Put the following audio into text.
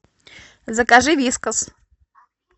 закажи вискас